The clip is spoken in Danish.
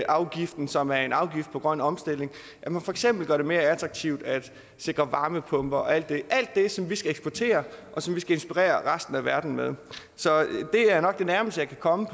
afgiften som er en afgift på grøn omstilling og at man for eksempel gør det mere attraktivt at sikre varmepumper og alt det det som vi skal eksportere og som vi skal inspirere resten af verden med så det er nok det nærmeste jeg kan komme